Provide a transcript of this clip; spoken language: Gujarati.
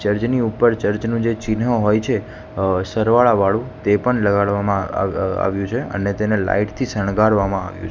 જર્જ ની ઉપર ચર્ચ નું જે ચિન્હ હોય છે સરવાળા વાળું તે પણ લગાડવામાં આવ્યું છે અને તેને લાઈટ થી શણગારવામાં આવ્યું--